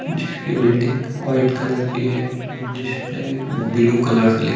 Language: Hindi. जिसकी बिल्डिंग व्हाइट कलर की है जिसपे ब्लू कलर से--;